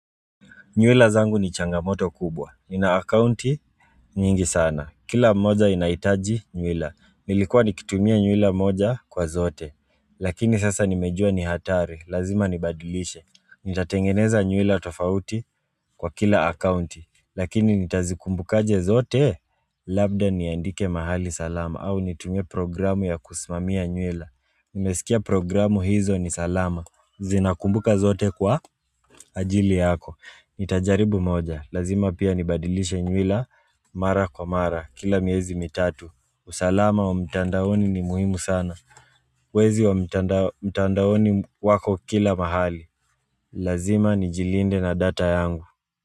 Nywila zangu ni changamoto kubwa. Nina akaunti nyingi sana. Kila moja inahitaji nywila. Nilikuwa nikitumia nywila moja kwa zote. Lakini sasa nimejua ni hatari. Lazima nibadilishe. Nitatengeneza nywila tofauti kwa kila akaunti. Lakini nitazikumbukaje zote. Labda niandike mahali salama. Au nitumie programu ya kusimamia nywila. Nimesikia programu hizo ni salama. Zinakumbuka zote kwa ajili yako. Nitajaribu moja, lazima pia nibadilishe nywila, mara kwa mara, kila miezi mitatu usalama wa mtandaoni ni muhimu sana Wezi wa mtandaoni wako kila mahali, lazima nijilinde na data yangu.